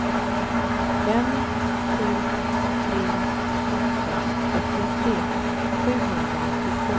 fem sju tre åtta trettiotre sjuhundranittiotvå